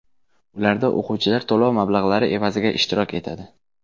Ularda o‘quvchilar to‘lov mablag‘lari evaziga ishtirok etadi.